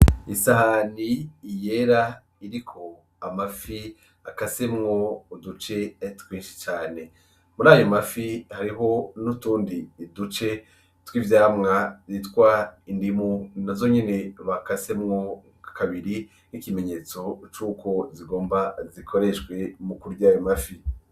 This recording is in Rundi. Isahani yera iriko amafi akasemwo uduce twinshi cane. Murayo mafi, hariho n'utundi duce tw'ivyamwa twitwa indimu nazo nyene bakasemwo kabiri, nk'ikimenyetso cuko zigomba zikoreshwe mukurya ayo mafi.